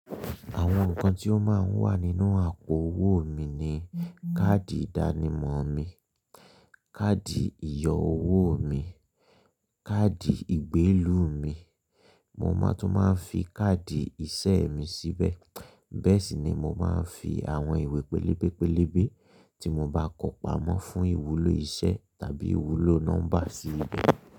Àwọn nkan tí ó máa ń wà nínú àpò owó mi ni: káàdì ìdánimọ̀ mi, káàdì ìyọ owó mi, káàdì ìgbélú mi. Mo máa tún máa ń fi káàdì ìṣe mi síbẹ̀. Bẹ́ẹ̀ sì ni mo máa ń fi àwọn ìwé pẹlẹ́bẹ́pẹlẹ́bẹ́ tí mo bá kó pamọ́ fún ìwúlò iṣẹ́ tàbí ìwúlò nọ́mbà sí ibẹ̀.